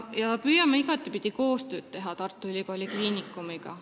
Me püüame Tartu Ülikooli Kliinikumiga igapidi koostööd teha.